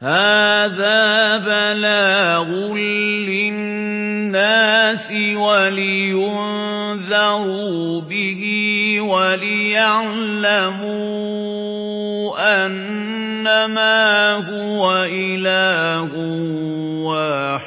هَٰذَا بَلَاغٌ لِّلنَّاسِ وَلِيُنذَرُوا بِهِ وَلِيَعْلَمُوا أَنَّمَا هُوَ إِلَٰهٌ